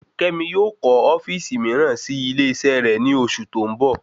Kémi yóò kọ ofíìsì miiran sí ilé isé rè ni oṣù tó ń bọ̀